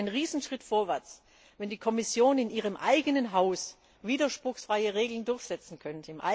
Es wäre ein Riesenschritt vorwärts, wenn die Kommission in ihrem eigenen Haus widerspruchsfreie Regeln durchsetzen könnte.